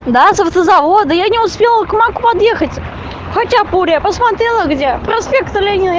да с автозавода я не успела к маку подъехать хачапури я посмотрела где проспект ленина